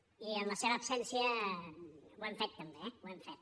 i en la seva absència ho hem fet també eh ho hem fet